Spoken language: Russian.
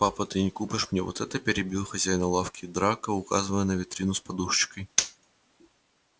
папа ты не купишь мне вот это перебил хозяина лавки драко указывая на витрину с подушечкой